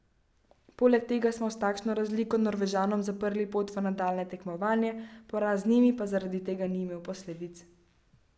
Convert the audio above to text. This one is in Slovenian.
Poleg tega smo s takšno razliko Norvežanom zaprli pot v nadaljnje tekmovanje, poraz z njimi pa zaradi tega ni imel posledic.